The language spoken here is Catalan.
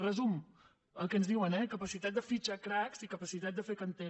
resum el que ens diuen eh capacitat de fitxar cracs i capacitat de fer planter